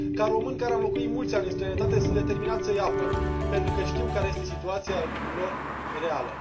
Ca român care am locuit mulți ani în străinătate, sunt determinat să îi apăr pentru că știu care este situația lor reală.